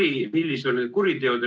Millised olid kuriteod?